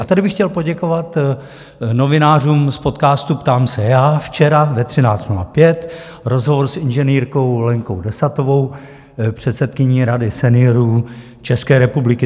A tady bych chtěl poděkovat novinářům z podcastu Ptám se já, včera ve 13.05 rozhovor s inženýrkou Lenkou Desatovou, předsedkyní Rady seniorů České republiky.